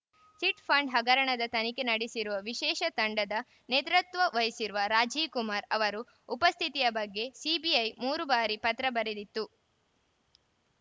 chit fund ಹಗರಣದ ತನಿಖೆ ನಡೆಸಿರುವ ವಿಶೇಷ ತಂಡದ ನೇತೃತ್ವ ವಹಿಸಿರುವ ರಾಜೀವ್‌ ಕುಮಾರ್‌ ಅವರು ಉಪಸ್ಥಿತಿಯ ಬಗ್ಗೆ ಸಿಬಿಐ ಮೂರು ಬಾರಿ ಪತ್ರ ಬರೆದಿತ್ತು